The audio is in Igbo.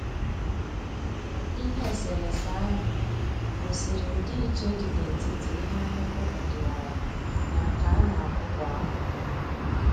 Ihe eserese ahụ gosiri ndị iche dị n'etiti ihe akụkụ ọdịwara na nke a na-akụ kwa afọ